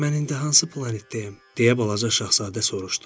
Mən indi hansı planetdəyəm, deyə balaca Şahzadə soruşdu.